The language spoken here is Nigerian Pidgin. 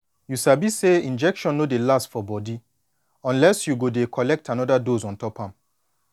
you sabi say injection no dey last for body unless say you go dey collect anoda dose ontop am